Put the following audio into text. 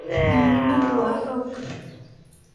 Midnimadu waa xoog.